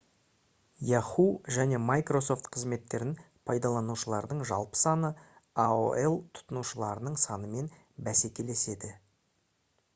yahoo және microsoft қызметтерін пайдаланушылардың жалпы саны aol тұтынушыларының санымен бәсекелеседі